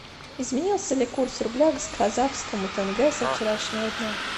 изменился ли курс рубля к казахскому тенге со вчерашнего дня